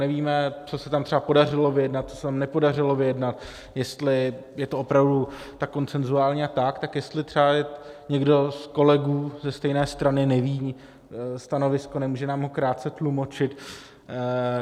Nevíme, co se tam třeba podařilo vyjednat, co se tam nepodařilo vyjednat, jestli je to opravdu tak konsenzuální, a tak jestli třeba někdo z kolegů ze stejné strany neví stanovisko, nemůže nám ho krátce tlumočit?